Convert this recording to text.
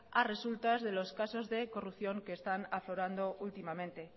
a resultas de los casos de corrupción que están aflorando últimamente